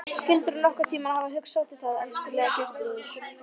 Skyldirðu nokkurn tímann hafa hugsað út í það, elskulega Geirþrúður?